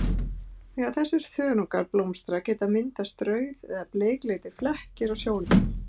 Þegar þessir þörungar blómstra geta myndast rauð- eða bleikleitir flekkir á sjónum.